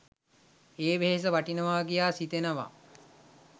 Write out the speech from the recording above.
ඒ වෙහෙස වටිනවා කියා සිතෙනවා.